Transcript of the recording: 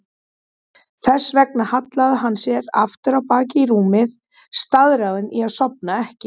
Þess vegna hallaði hann sér aftur á bak í rúmið, staðráðinn í að sofna ekki.